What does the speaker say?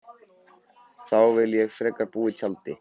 Þá vil ég frekar búa í tjaldi.